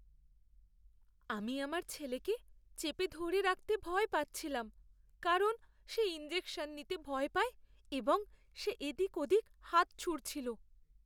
আমি আমার ছেলেকে চেপে ধরে রাখতে ভয় পাচ্ছিলাম কারণ সে ইনজেকশন নিতে ভয় পায় এবং সে এদিক ওদিক হাত ছুঁড়ছিল।